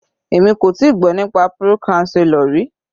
Èmi kò tíì gbọ́ nípa pro-chancellor rí.